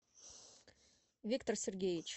виктор сергеевич